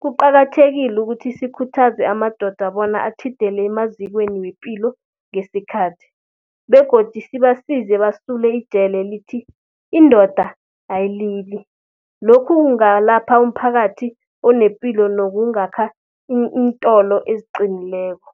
Kuqakathekile ukuthi sikhuthaze amadoda bona atjhidele emazikweni wepilo ngesikhathi begodu sibasize basule ijele elithi, indoda ayilili. Lokhu kungalapha umphakathi onepilo nokungakha iintolo eziqinileko.